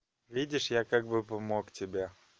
видишь я как бы помог тебе